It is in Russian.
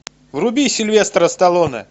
вруби сильвестра сталлоне